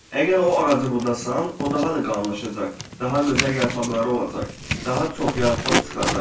Əgər o ağacı budasan, o daha da qalınlaşacaq, daha gözəl yarpaqları olacaq, daha çox yarpaq çıxacaq.